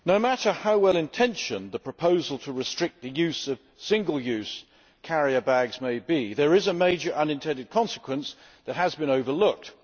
Madam President, no matter how well intentioned the proposal to restrict the use of single use carrier bags may be, there is a major unintended consequence that has been overlooked.